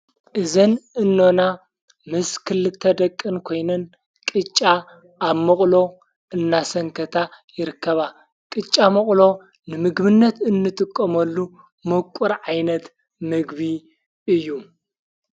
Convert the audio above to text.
እዘን እኖና ምስክል እተደቅን ኮይነን ቕጫ ኣብ ምቕሎ እናሰንከታ ይርከባ ቕጫ መቕሎ ንምግምነት እንጥቆመሉ መቊር ዓይነት ምግቢ እዩ::